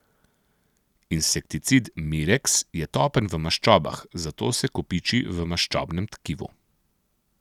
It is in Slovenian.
Insekticid mireks je topen v maščobah, zato se kopiči v maščobnem tkivu.